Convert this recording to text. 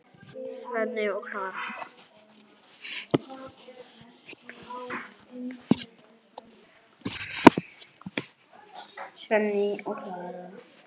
Svenni og Klara!